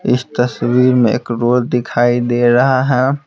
इस तस्वीर में एक रोल दिखाई दे रहा है।